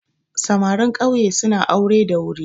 Samarin ƙauye suna aure da wuri